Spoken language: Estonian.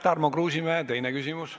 Tarmo Kruusimäe, teine küsimus.